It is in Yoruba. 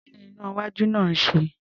Kí ni iná-iwájú náà ń ṣe?